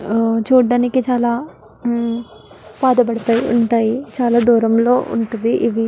ఆహ్ చూడటానికి చాలా ఉమ్మ్ పాతబడిపోయి ఉంటాయి చాలా దూరంలో ఉంటది ఇది --